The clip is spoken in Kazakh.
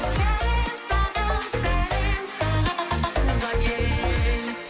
сәлем саған сәлем саған туған ел